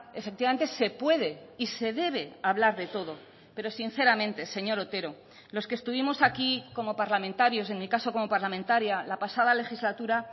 efectivamente se puede y se debe hablar de todo pero sinceramente señor otero los que estuvimos aquí como parlamentarios en mi caso como parlamentaria la pasada legislatura